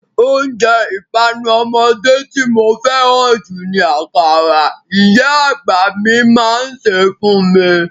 Oúnjẹ ìpanu ọmọdé tí mo fẹ́ràn jù ni akara, ìyá àgbà mi máa ń ṣe é fún mi.